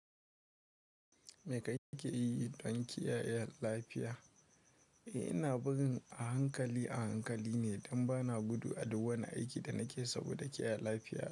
Me kake yi don kiyaye lafiya? Eh, ina gudun a hankali a hankali ne don ba na gudu a duk wani aiki da nake saboda kiyaye lafiya.